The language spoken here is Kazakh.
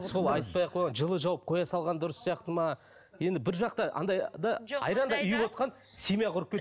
сол айтпай ақ қойған жылы жауып қоя салған дұрыс сияқты ма енді бір жақтан андай да айрандай ұйып отырған семья құрып